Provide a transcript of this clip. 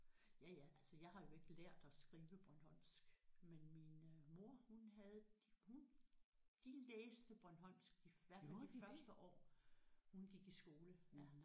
Ja ja altså jeg har jo ikke lært at skrive bornholmsk men min øh mor hun havde hun de læste bornholmsk i hvert fald de første år hun gik i skole ja